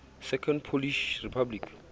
second polish republic